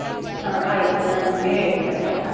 ಹಾ ಆಯ್ತು. ನಾನ್ ನಿಂಗೆ ಹೇಳ್ತೇನೆ, ಆಯ್ತಾ?